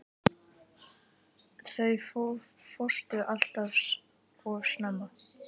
Þú fórst allt of snemma.